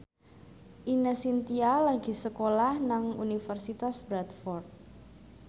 Ine Shintya lagi sekolah nang Universitas Bradford